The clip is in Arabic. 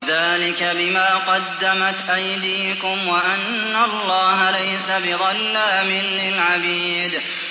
ذَٰلِكَ بِمَا قَدَّمَتْ أَيْدِيكُمْ وَأَنَّ اللَّهَ لَيْسَ بِظَلَّامٍ لِّلْعَبِيدِ